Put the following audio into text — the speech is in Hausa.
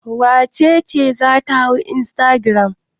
Wace ce za ta hau instagram?